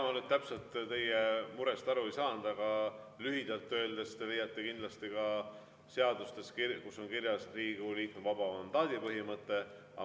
Ega ma nüüd täpselt teie murest aru ei saanud, aga lühidalt öeldes: te leiate kindlasti ka seadustest Riigikogu liikme vaba mandaadi põhimõtte.